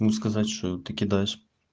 ну сказать что ты кидаешь